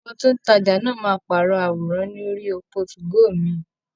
Ọmọ tí ó ń tajà náà máa pàrọ̀ àwòrán ní orí òpó 2go mi.